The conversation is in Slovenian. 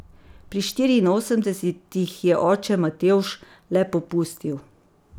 Pri štiriinosemdesetih je oče Matevž le popustil.